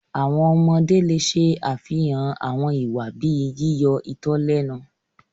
Àwọn ọmọde le ṣe afihan awọn iwa bii yiyọ itọ lẹnu